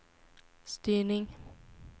styrning